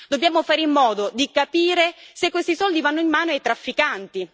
Dobbiamo fare in modo di capire se questi soldi vanno in mano ai trafficanti.